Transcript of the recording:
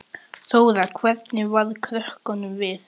Þóra: Hvernig varð krökkunum við?